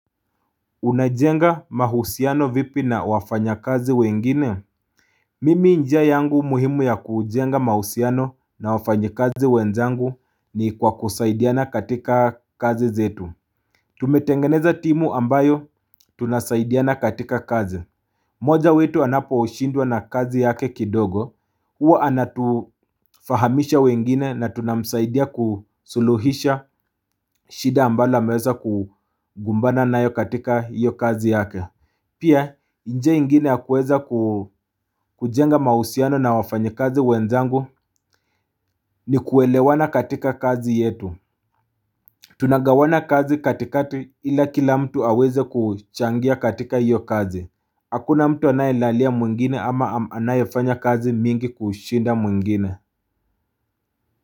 Unajenga mahusiano vipi na wafanyakazi wengine Mimi njia yangu muhimu ya kujenga mahusiano na wafanyikazi wenzangu ni kwa kusaidiana katika kazi zetu Tumetengeneza timu ambayo tunasaidiana katika kazi moja wetu anaposhindwa na kazi yake kidogo Huwa anatufahamisha wengine na tunamsaidia kusuluhisha shida ambalo ameweza kugumbana nayo katika hiyo kazi yake Pia njia ingine ya kuweza ku kujenga mausiano na wafanyakazi wenzangu ni kuelewana katika kazi yetu Tunagawana kazi katikati ila kila mtu aweze kuchangia katika iyo kazi Hakuna mtu anayelalia mwingine ama anayefanya kazi mingi kushinda mwingine.